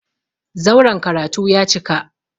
Zauren karatu ya cika.